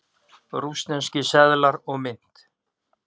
Rússneskir seðlar og mynt.